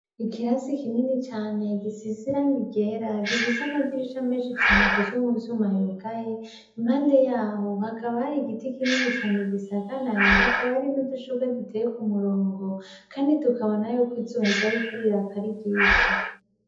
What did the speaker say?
Ikirasi kinini cane gisize irangi ryera, gifise amadirisha menshi cane akozwe mu vyuma yugaye. Impande y'aho, hakaba har'igiti kinini cane gisagaraye, hakaba hari n'udushurwe duteye k'umurongo. Kandi tukabona y'uko, izuba ryariko riraka ari ryinshi.